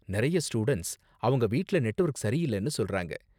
நிறைய ஸ்டூடண்ட்ஸ் அவங்க வீட்டுல நெட்வொர்க் சரியில்லனு சொல்றாங்க.